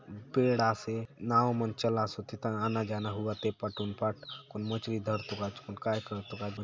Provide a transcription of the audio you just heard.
पेड़ आसे नांव मन चलासोत एथा आना - जाना हउआत ए पाट हुन पाट कौन मछरी धरतो काजे कौन काय करतो काजे --